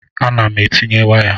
A na m etinye waya